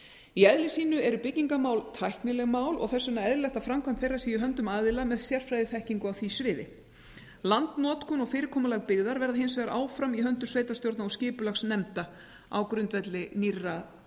í eðli sínu eru byggingarmál tæknileg mál og þess vegna eðlilegt að framkvæmd þeirra sé í höndum aðila með sérfræðiþekkingu á því sviði landnotkun og fyrirkomulag byggðar verða hins vegar áfram í höndum sveitarstjórna og skipulagsnefnda á grundvelli nýrra